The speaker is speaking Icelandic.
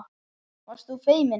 Varst þú feimin?